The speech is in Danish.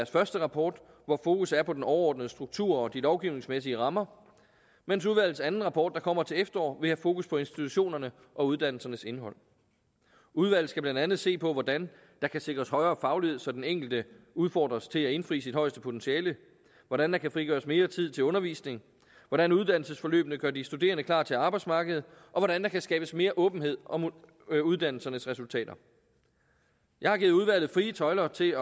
første rapport hvor fokus er på den overordnede struktur og de lovgivningsmæssige rammer mens udvalgets anden rapport der kommer til efteråret vil have fokus på institutionerne og uddannelsernes indhold udvalget skal blandt andet se på hvordan der kan sikres højere faglighed så den enkelte udfordres til at indfri sit højeste potentiale hvordan der kan frigøres mere tid til undervisning hvordan uddannelsesforløbene gør de studerende klar til arbejdsmarkedet og hvordan der kan skabes mere åbenhed om uddannelsernes resultater jeg har givet udvalget frie tøjler til